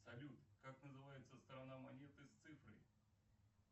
салют как называется сторона монеты с цифрой